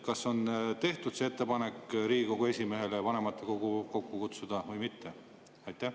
Kas on tehtud ettepanek Riigikogu esimehele vanematekogu kokku kutsuda või mitte?